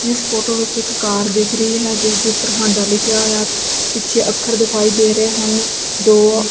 ਇਸ ਫੋਟੋ ਵਿੱਚ ਇੱਕ ਕਾਰ ਦਿਖ ਰਹੀ ਹੈ ਜਿਸ ਦੇ ਉੱਪਰ ਹਾਂਡਾ ਲਿਖਿਆ ਹੋਇਆ ਪਿੱਛੇ ਅੱਖਰ ਦਿਖਾਈ ਦੇ ਰਹੇ ਹਨ ਦੋ--